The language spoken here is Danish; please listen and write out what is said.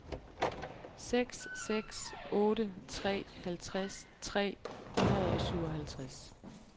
seks seks otte tre halvtreds tre hundrede og syvoghalvtreds